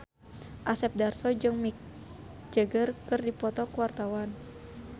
Asep Darso jeung Mick Jagger keur dipoto ku wartawan